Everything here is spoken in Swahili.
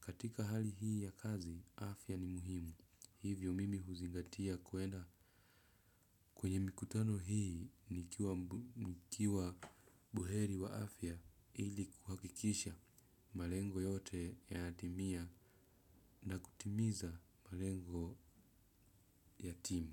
katika hali hii ya kazi afya ni muhimu. Hivyo mimi huzingatia kuenda kwenye mikutano hii nikiwa buheri wa afya ili kuhakikisha malengo yote yanadimia na kutimiza malengo ya timu.